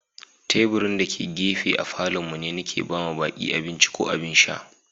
Taburin da ke gafe a Falo'n mu ne Nike ba ma baki abinci ko abin sha.